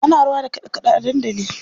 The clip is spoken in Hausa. Ana rawa da kaɗe kaɗe a dandali.